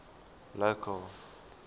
local